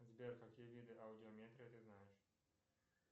сбер какие виды аудиометрии ты знаешь